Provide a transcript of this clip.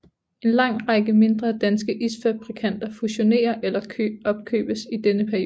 En lang række mindre danske isfabrikanter fusionerer eller opkøbes i denne periode